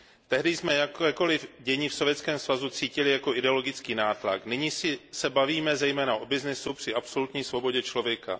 Tehdy jsme jakékoli dění v Sovětském svazu cítili jako ideologický nátlak, nyní se bavíme zejména o obchodu při absolutní svobodě člověka.